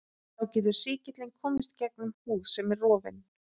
Þá getur sýkillinn komist gegnum húð sem er rofin.